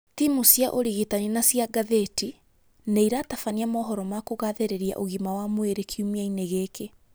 Timũ cia ũrigitani na cia ngathĩti nĩ iratabania mohoro ma kugathĩrĩria ũgima wa mwĩrĩ kiumia-inĩ gĩkĩ.